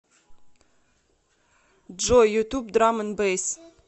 джой ютуб драм энд бэйс